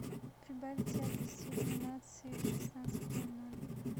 прибавить яркость иллюминации в шестнадцать ноль ноль